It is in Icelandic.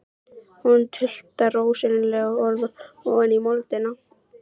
Hún tuldrar óskiljanleg orð ofan í moldina.